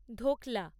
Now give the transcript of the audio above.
dhokla